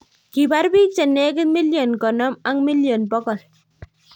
Kiipar bik chenegit milion 50 ak milion 100